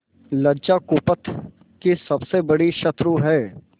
लज्जा कुपथ की सबसे बड़ी शत्रु है